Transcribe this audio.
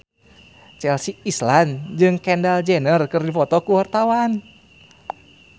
Chelsea Islan jeung Kendall Jenner keur dipoto ku wartawan